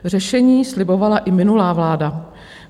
Řešení slibovala i minulá vláda.